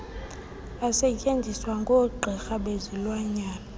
asetyenziswa ngoogqirha bezilwanyana